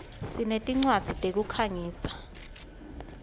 sinetincwadzi tekukhangisa